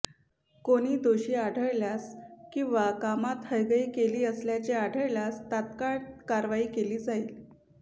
कोणी दोषी आढळल्यास किंवा कामात हयगय केली असल्याचे आढळल्यास तात्काळ कारवाई केली जाईल